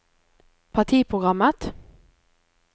partiprogrammet